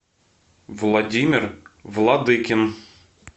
владимир владыкин